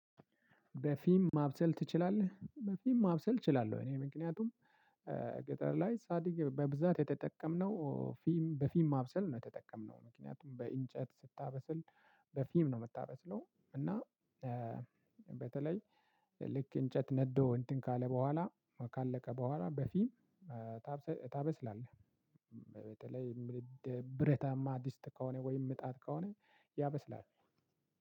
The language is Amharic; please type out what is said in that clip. በፊም ማብሰል ትችላለህ? በፊም ማብሰል እችላለህ። እኔ ምክንያቱም ገጠር ላይ ሳድግ በብዛት የተጠቀምነው ፊም በፊም ማብሰል ነው የተጠቀምነው። ምክንያቱም በእንጨት ስታበስል በፊም ነው የምታበስለው። እና በተለይ ልክ እንጨት ነዶ እንትን ካለ በኋላ ካለቀ በኋላ በፊም ታበስላለህ። በተለይ ብረታማ ድስት ከሆነ ወይም ምጣድ ከሆነ ያበስላል።